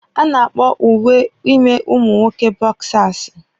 A na-akpọ uwe ime ụmụ nwoke bọksasi